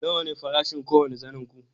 nawa ne farashin kowane zanen ku